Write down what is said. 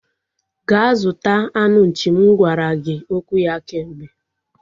Gaa zụta anụ nchi m gwara gị okwu ya kemgbe